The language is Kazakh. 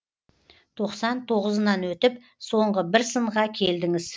тоқсан тоғызынан өтіп соңғы бір сынға келдіңіз